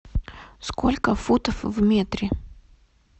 сколько футов в метре